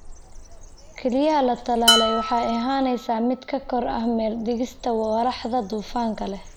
Kelyaha la tallaalay waxa ay ahaanaysaa mid ka xor ah meel dhigista walaxda dufanka leh (glycosphingolipid).